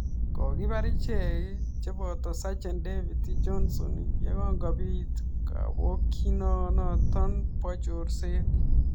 Kokipar Ichek chepotoo Sajen David Jonson yegongopiit kapokyinoo notok poo chorseet